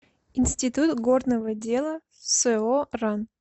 институт горного дела со ран